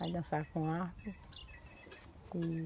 Vai dançar com arco, com...